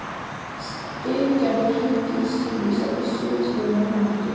Styrgerður, hringdu í Sýrus eftir sjötíu og eina mínútur.